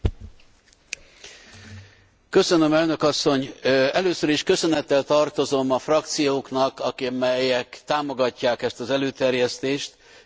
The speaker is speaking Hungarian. Először is köszönettel tartozom a frakcióknak, amelyek támogatják ezt az előterjesztést, és azt gondolom, hogy az előterjesztés valóban a biztonságot szolgálja.